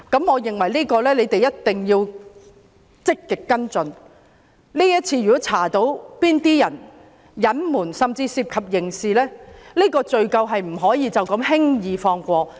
我認為政府必須積極跟進，如果調查到有人隱瞞甚至涉及刑事責任，罪責不能輕易放過。